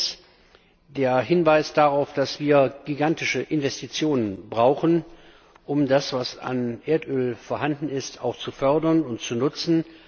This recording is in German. Erstens, der Hinweis darauf, dass wir gigantische Investitionen brauchen, um das, was an Erdöl vorhanden ist, auch zu fördern und zu nutzen.